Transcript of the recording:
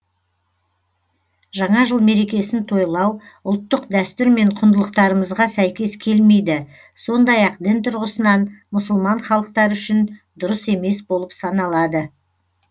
жаңа жыл мерекесін тойлау ұлттық дәстүр мен құндылықтарымызға сәйкес келмейді сондай ақ дін тұрғысынан мұсылман халықтары үшін дұрыс емес болып саналады